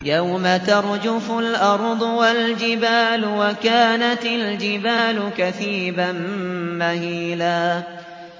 يَوْمَ تَرْجُفُ الْأَرْضُ وَالْجِبَالُ وَكَانَتِ الْجِبَالُ كَثِيبًا مَّهِيلًا